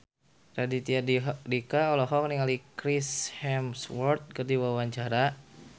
Raditya Dika olohok ningali Chris Hemsworth keur diwawancara